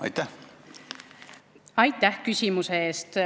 Aitäh küsimuse eest!